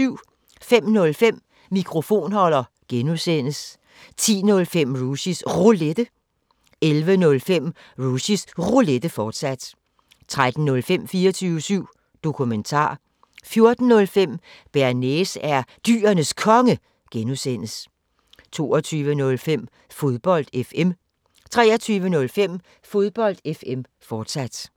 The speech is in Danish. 05:05: Mikrofonholder (G) 10:05: Rushys Roulette 11:05: Rushys Roulette, fortsat 13:05: 24syv Dokumentar 14:05: Bearnaise er Dyrenes Konge (G) 22:05: Fodbold FM 23:05: Fodbold FM, forsat